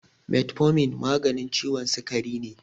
Metformin maganin ciwon sikari ne.